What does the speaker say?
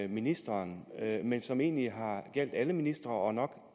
ministeren men som egentlig har gjaldt alle ministre og nok